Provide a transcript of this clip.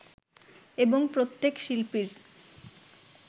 এবং প্রত্যেক শিল্পীর